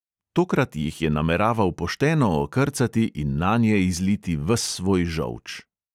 Tokrat jih je nameraval pošteno okrcati in nanje izliti ves svoj žolč.